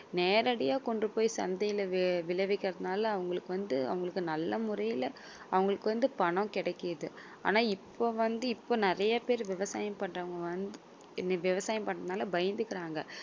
நேரடியா கொண்டு போயி சந்தையில விளைவிக்கிறதுனால அவங்களுக்கு வந்து அவங்களுக்கு நல்ல முறையில அவங்களுக்கு வந்து பணம் கிடைக்குது ஆனால் இப்ப வந்து இப்ப நிறைய பேர் விவசாயம் பண்றவங்க வந்து விவசாயம் பண்றதுனால பயந்துக்குறாங்க